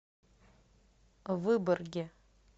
выборге